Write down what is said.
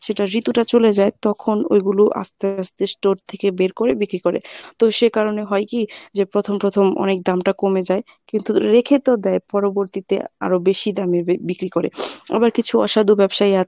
সেটার ঋতুটা চরে যায় তখন ঐগুলো আস্তে আস্তে store থেকে বের করে বিক্রি করে তো সেকারণে হয় কী যে প্রথম প্রথম অনেক দামটা কমে যায় কিন্তু রেখে তো দেয় পরবর্তীতে আরো বেশি দামে ব~ বিক্রি করে। আবার কিছু অসাধু ব্যবসায়ী আছে